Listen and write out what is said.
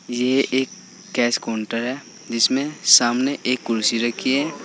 ये एक cash counter है जिसमें सामने एक कुर्सी रखी है।